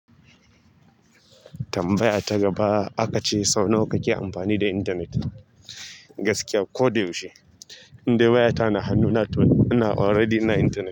Tambaya ta gaba aka ce sau nawa ka ke amfani da intanet? Gaskiya ko da yaushe. Indai wayata na hannuna toh ina already ina intanet.